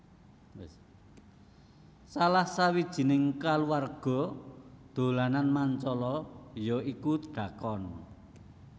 Salah sawijining kaluwarga dolanan Mancala ya iku dhakon